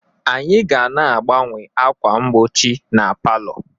anyị ga na-agbanwe ákwà mgbochi na palọ